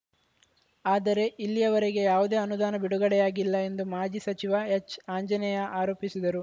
ಆದರೆ ಇಲ್ಲಿಯವರೆಗೆ ಯಾವುದೇ ಅನುದಾನ ಬಿಡುಗಡೆಯಾಗಿಲ್ಲ ಎಂದು ಮಾಜಿ ಸಚಿವ ಎಚ್‌ಆಂಜನೇಯ ಆರೋಪಿಸಿದರು